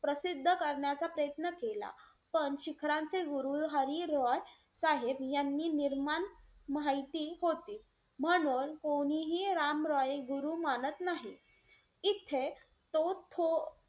प्रसिद्ध करण्याचा प्रयत्न केला. पण शिखरांचे हरी गुरु रॉय साहेब यांनी निर्माण माहिती होती. म्हणून कोणीही राम रॉय गुरु मानत नाही. इथे तो थो,